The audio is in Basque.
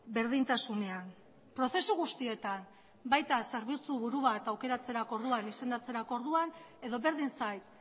berdintasunean prozesu guztietan baina zerbitzuburu bat aukeratzeko orduan izendatzerako orduan edo berdin zait